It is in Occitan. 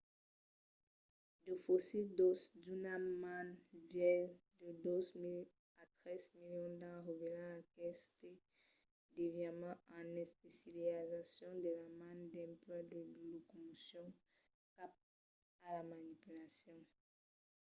de fossils d'òsses d'una man vièlhs de dos milions a tres milions d’ans revèlan aqueste desviament en especializacion de la man dempuèi la locomocion cap a la manipulacion